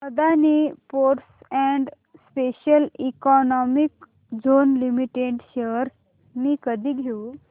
Adani ports and special economic zone limited shares मी कधी घेऊ